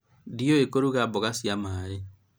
ndiũĩ kũruga mboga cia maĩ